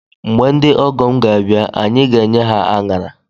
Mgbe ndị ọgọ m ga abịa anyị ga enye ha anara